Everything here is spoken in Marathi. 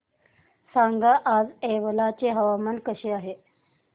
सांगा आज येवला चे हवामान कसे आहे